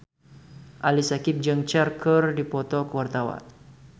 Ali Syakieb jeung Cher keur dipoto ku wartawan